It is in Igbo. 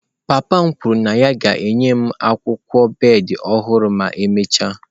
Papa m kwuru na ya ga-enye m akwụkwọ bed ọhụrụ ma emechaa.